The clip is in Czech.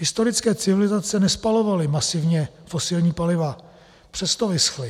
Historické civilizace nespalovaly masivně fosilní paliva, přesto vyschly.